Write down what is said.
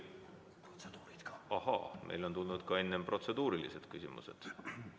Ahaa, on tulnud ka protseduurilised küsimused.